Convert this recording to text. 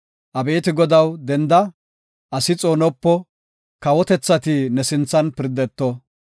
Abeeti Godaw denda; asi xoonopo! Kawotethati ne sinthan pirdeto.